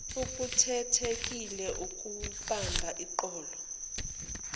okukhethekile okumba eqolo